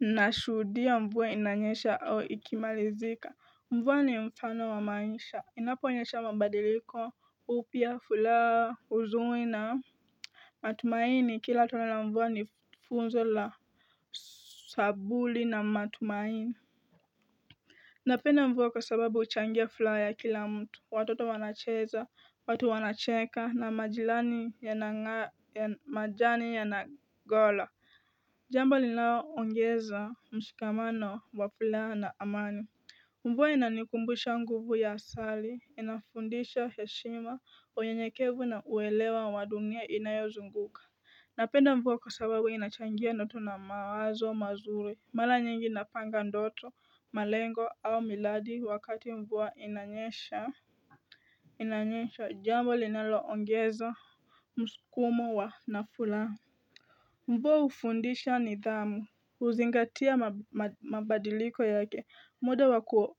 nashudia mvua inanyesha au ikimalizika mvua ni mfano wa maisha inapo nyesha mabadiliko upya furaha huzuni na matumaini kila tone lamvua ni funzo la sabuli na matumaini napenda mvu kwasababu uchangia furaha yakilamtu watoto wanacheza watu wanacheka na majani yanagola jamba lilao ongeza mshikamano wa furaha na amani mvua inanikumbusha nguvu ya sali inafundisha heshima uyenyekevu na uelewa wa dunia inayozunguka napenda mvua kwasababu inachangia notu na mawazo mazuri maranyingi napanga ndoto malengo au miladi wakati mvua inanyesha inanyesha jambo linalo ongeza msukumo wa nafuraha mvua ufundisha nidhamu huzingatia mabadiliko yake muda waku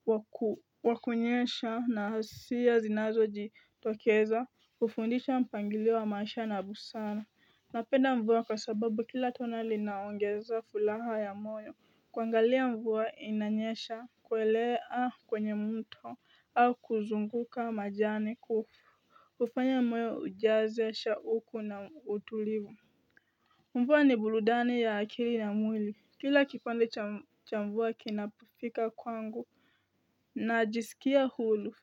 wakunyesha na siya zinazo jitokeza ufundisha mpangilio wa maisha na busara napenda mvua kwasababu kila tona linaongeza furaha ya moyo kwangalia mvua inanyesha kwelea kwenye mto au kuzunguka majani kufu kufanya moyo ujaze shauku na utulivu mvua ni burudani ya akili na mwili kila kipande cha mvua kinapufika kwangu najisikia hulu.